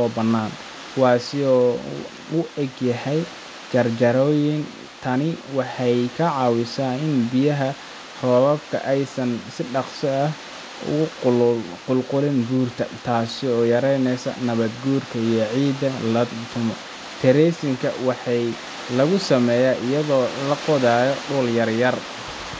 oo bannaan, kuwaas oo u egyahay jaranjarooyin. Tani waxay ka caawisaa in biyaha roobka aysan si dhaqso ah uga qulqulin buurta, taas oo yareysa nabaad-guurka iyo in ciidda la lumo. terracing-ka waxaa lagu sameeyaa iyadoo la qodayo dhul yar-yar